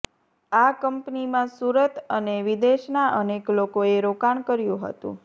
આ કંપનીમાં સુરત અને વિદેશના અનેક લોકોએ રોકાણ કર્યું હતું